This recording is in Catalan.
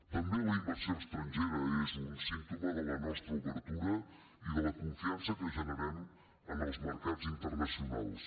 també la inversió estrangera és un símptoma de la nostra obertura i de la confiança que generem en els mercats internacionals